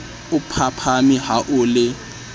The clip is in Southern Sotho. o phaphame ha o le